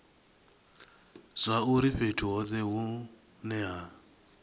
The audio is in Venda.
zwauri fhethu hothe hune ha